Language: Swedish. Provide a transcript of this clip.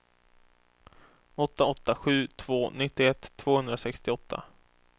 åtta åtta sju två nittioett tvåhundrasextioåtta